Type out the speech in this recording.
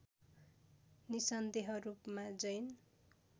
निसन्देह रूपमा जैन